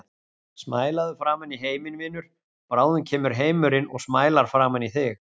Smælaðu framan í heiminn, vinur, bráðum kemur heimurinn og smælar framan í þig.